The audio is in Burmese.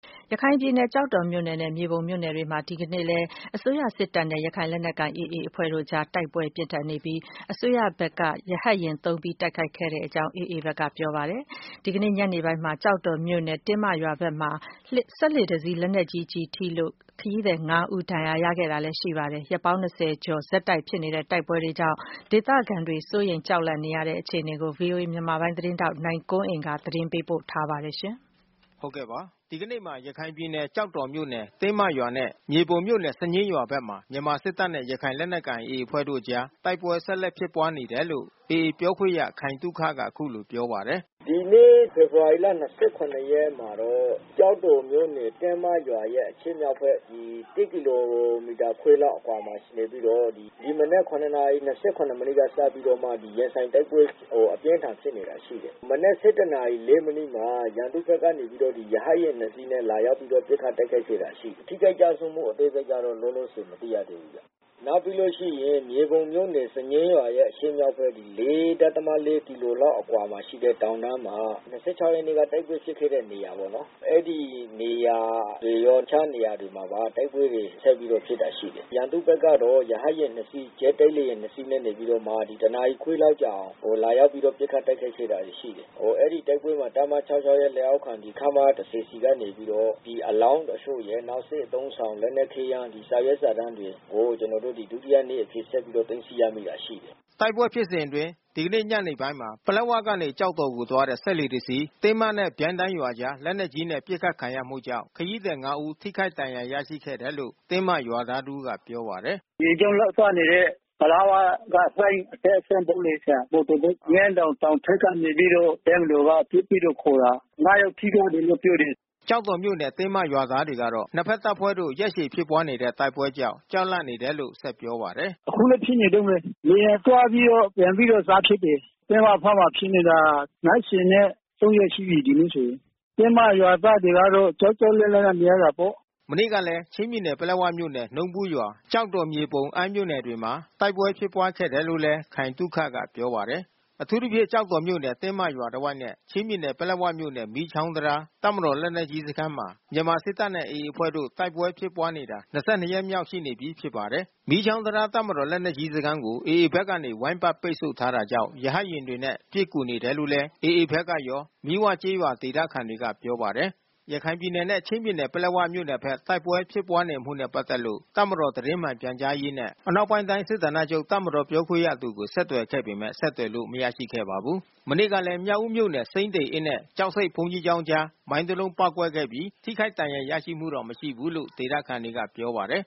ရခိုင်ပြည်နယ် ကျောက်တော်မြို့နယ်နဲ့ မြေပုံမြို့နယ်မှာ ဒီကနေ့မှာလည်း မြန်မာစစ်တပ်နဲ့ ရခိုင်လက်နက်ကိုင် AA အဖွဲ့တို့အကြား တိုက်ပွဲပြင်းထန် ဖြစ်ပွားနေပြီး ဒီတိုက်ပွဲမှာ မြန်မာစစ်တပ်ဘက်က ရဟတ်ယာဉ်အသုံးပြု တိုက်ခိုက်ခဲ့ရတဲ့ အထိပြင်းထန်တယ်လို့ AA ဘက်က ပြောပါတယ်။ ကျောက်တော်မြို့နယ် တင်းမရွာဘက်မှာ စက်လှေတစီး ဒီနေ့ညနေပိုင်းမှာ လက်နက်ကြီး ထိမှန်လို့ ခရီးသည် ၅ ဦး ဒဏ်ရာ ရရှိခဲ့သလို ၂၂ ရက်လောက် တိုက်ပွဲဆက် ဖြစ်နေတာကြောင့် ဒေသခံတွေ ကြောက်လန့် နေရတယ်လို့လည်း ဆိုပါတယ်။ ဗွီအိုအေ မြန်မာပိုင်း သတင်းထောက် နိုင်ကွန်းအိန်ကနေ သတင်းပေးပို့ထားပါတယ်။ ဒီကနေ့မှာ ရခိုင်ပြည်နယ် ကျောက်တော်မြို့နယ် တင်းမရွာနဲ့ မြေပုံမြို့နယ် စညှင်းရွာဘက်မှာ မြန်မာစစ်တပ်နဲ့ ရခိုင်လက်နက်ကိုင် AA အဖွဲ့တို့အကြား တိုက်ပွဲဆက်လက်ဖြစ်ပွါးနေတယ်လို့ AA ပြောခွင့်ရခိုင်သုခက အခုလိုပြောပါတယ်။ “ဒီနေ့ ဖေဖေါ်ဝါရီလ ၂၇ ရက်မှာတော့ ကျောက်တော်မြို့နယ် တင်းမရွာရဲ့ အရှေ့မြောက်ဘက်၁ ကီလိုမီတာခွဲလောက် အကွာမှာနေပြီးတော့ ဒီမနက် ၇ နာရီ ၂၇ မိနစ်ကစပြီးတော့မှ ရင်ဆိုင်တိုက်ပွဲ အပြင်းထန်ဖြစ်နေတာ ရှိတယ်။ မနက် ၁၁ နာရီ ၄ မိနစ်မှာ ရန်သူဘက်ကနေပြီးတော့ ရဟတ်ယာဉ် ၂ စီးနဲ့ လာပြီးတော့ ပစ်ခတ်တိုက်ခိုက်ခဲ့တာ ရှိတယ်။ ထိခိုက်ကျဆုံးမှု အသေးစိတ်ကတော့ လောလောဆယ် မသိရသေးဘူး။ နောက်ပြီးလို့ရှိရင် မြေပုံမြို့နယ် စံညှင်းရွာရဲ့အရှေ့မြောက်ဘက် ၄.၄ ကီလိုမီတာလောက်ရှိတဲ့ တောင်တန်းမှာ၂၆ ရက်နေ့က တိုက်ပွဲဖြစ်ခဲ့တဲ့နေရာပေါ့နော်။ အဲဒီနေရာတွေရော တခြားနေရာတွေပါ တိုက်ပွဲတွေ ဆက်ပြီးတော့ဖြစ်တာ ရှိတယ်။ ရန်သူဘက်ကတော့ ရဟတ်ယာဉ် ၂ စီး ဂျက်တိုက် လေယာဉ် ၂ စီးနဲ့ နေပြီးတော့မှ တနာရီခွဲလောက်ကြာအောင် လာပြီးတော့ ပစ်ခတ်တိုက်ခိုက်တာ ရှိတယ်။ အဲဒီတိုက်ပွဲမှာ တပ်မ ၆၆ ရဲ့လက်အောက်ခံ ခမရ ၁၀ ဆီကနေပြီးတော့ အလောင်းတချို့ရယ် နောက်စစ်အသုံးဆောင်လက်နက်ခဲယမ်း စာရွက်စာတမ်းတွေကို ကျနော်တို့ ဒုတိယနေ့အဖြစ်ဆက်ပြီးတော့ သိမ်းဆည်းရမိတာ ရှိတယ်။” တိုက်ပွဲဖြစ်စဉ်အတွင်း ဒီနေ့ညနေပိုင်းမှာ ပလက်ဝကနေ ကျောက်တော်ကို သွားတဲ့ စက်လှေတစီး တင်းမနဲ့ ပြိုင်းတိုင်းရွာအကြား လက်နက်ကြီးနဲ့ ပစ်ခတ်ခံရမှုကြောင့် ခရီးသည် ၅ ဦး ထိခိုက်ဒဏ်ရာ ရရှိခဲ့တယ်လို့ တင်းမရွာသားတဦးကပြောပါတယ်။ “ရေကြောင်းလိုင်းသွားနေတဲ့ ပလက်ဝက လှိုင်းအတက်အဆင်းလုပ်နေတဲ့ မော်တော်ဘုတ်။ ငန်းတောင်တောင်ထိပ်က နေပြီးတော့ တပ်မတော်က ပစ်ပြီးတော့ ခိုတာ။ ၅ ယောက်ထိသွားတယ်လို့ ပြောတယ်။” ကျောက်တော်မြို့နယ် တင်းမရွာသားတွေကတော့ နှစ်ဘက်တပ်ဖွဲ့တို့ ရက်ရှည်ဖြစ်ပွါးနေတဲ့ တိုက်ပွဲကြောင့် ကြောက်လန့်နေတယ်လို့ ဆက်ပြောပါတယ်။ “အခုလည်းဖြစ်နေတုန်းပဲ။ လေယာဉ်သွားပြီးတော့ပြန်ပြီးတော့ စဖြစ်တယ်။ တင်းမဘက်မှာဖြစ်နေတာ ၂၃ ရက်ရှိပြီး ဒီနေ့ဆိုရင်။ တင်းမရွာသားတွေကတော့ ကြောက်ကြောက်လန့်လန့်နဲ့ နေရတာပေါ့။” မနေ့ကလည်း ချင်းပြည်နယ် ပလက်ဝမြို့နယ် နှုံးဘူးရွာ၊ ကျောက်တော်၊ မြေပုံ၊ အမ်းမြို့နယ်တွေမှာ တိုက်ပွဲဖြစ်ပွားခဲ့တယ်လို့လည်း ခိုင်သုခကပြောပါတယ်။ အထူးသဖြင့် ကျောက်တော်မြို့နယ် တင်းမရွာတဝိုက်နဲ့ ချင်းပြည်နယ် ပလက်ဝမြို့နယ် မီးချောင်းတံတား တပ်မတော်လက်နက်ကြီးစခန်းမှာ မြန်မာစစ်တပ်နဲ့ AA အဖွဲ့တို့ တိုက်ပွဲဖြစ်ပွားနေတာ၂၂ ရက်မြောက်ရှိနေပြီ ဖြစ်ပါတယ်။ မီးချောင်းတံတား တပ်မတော် လက်နက်ကြီးစခန်းကို AA ဘက်ကနေ ဝိုင်းပတ်ပိတ်ဆို့ထားတာကြောင့် ရဟတ်ယာဉ်တွေနဲ့ ပစ်ကူနေတယ်လို့လည်း AA ဘက်ကရော မီးဝကျေးရွာဒေသခံတွေက ပြောပါတယ်။ ရခိုင်ပြည်နယ်နဲ့ ချင်းပြည်နယ် ပလက်ဝမြို့နယ်ဘက်တ ိုက်ပွဲဖြစ်ပွားနေမှုနဲ့ ပတ်သက်လို့ တပ်မတော်သတင်းမှန်ပြန်ကြားရေးနဲ့ အနောက်ပိုင်းတိုင်း စစ်ဌာနချုပ် တပ်မတော်ပြောခွင့်ရသူကို ဆက်သွယ်ခဲ့ပေမဲ့ ဆက်သွယ်လို့ မရရှိခဲ့ပါဘူး။ မနေ့ကလည်း မြောက်ဦးမြို့နယ် စိမ်းသေအင်းနဲ့ ကျောက်ဆိပ်ဘုန်းကြီးကျောင်းအကြား မိုင်း တလုံး ပေါက်ကွဲခဲ့ပြီး ထိခိုက်ဒဏ်ရာရရှိမှု မရှိဘူးလို့ ဒေသခံတွေက ပြောပါတယ်